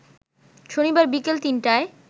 শনিবার বিকেল ৩টায়